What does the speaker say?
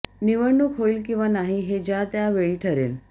निवडणूक होईल किंवा नाही हे ज्या त्या वेळी ठरेल